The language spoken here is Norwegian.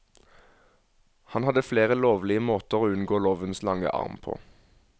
Han hadde flere lovlige måter å unngå lovens lange arm på.